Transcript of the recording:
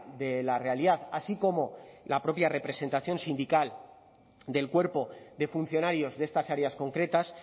de la realidad así como la propia representación sindical del cuerpo de funcionarios de estas áreas concretas